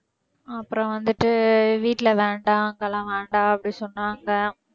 அப்புறம் வந்துட்டு வீட்ல வேண்டாம் அங்கெல்லாம் வேண்டாம் அப்படி சொன்னாங்க